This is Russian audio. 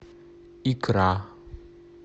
икра